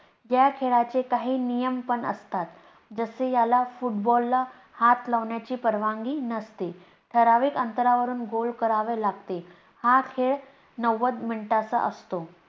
या खेळाचे काही नियम पण असतात, जसे याला football ला हात लावण्याची परवानगी नसते. ठराविक अंतरावरून goal करावे लागते. हा खेळ नव्वद मिनिटांचा असतो.